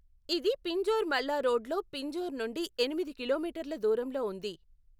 ఇది పింజోర్ మల్లా రోడ్లో పింజోర్ నుండి ఎనిమిది కిలోమీటర్ల దూరంలో ఉంది.